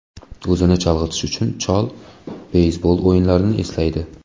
O‘zini chalg‘itish uchun, chol beysbol o‘yinlarini eslaydi.